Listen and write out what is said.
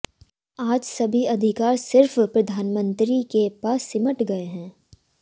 आज सभी अधिकार सिर्फ प्रधानमंत्री के पास सिमट गए हैं